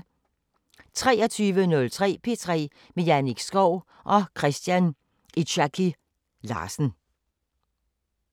23:03: P3 med Jannik Schow og Christian Itzchaky Larsen